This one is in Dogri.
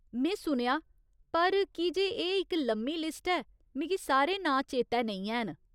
में सुनेआ , पर की जे एह् इक लम्मी लिस्ट ऐ, मिगी सारे नांऽ चेतै नेईं हैन।